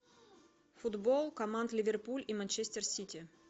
футбол команд ливерпуль и манчестер сити